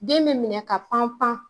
Den be minɛ ka pan pan